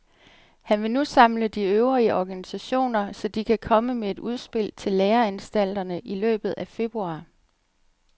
Han vil nu samle de øvrige organisationer, så de kan komme med et udspil til læreanstalterne i løbet af februar.